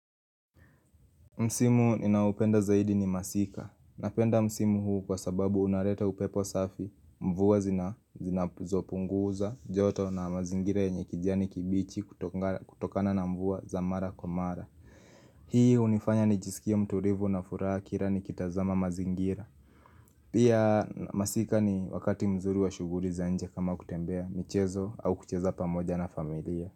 Msimu ninaoupenda zaidi ni masika, napenda msimu huu kwa sababu unaleta upepo safi, mvua zinazopunguza joto na mazingira yenye kijani kibichi kutokana na mvua za mara kwa mara Hii hunifanya nijisikie mtulivu na furaha kila nikitazama mazingira Pia masika ni wakati mzuri wa shughuli za nje kama kutembea michezo au kucheza pamoja na familia.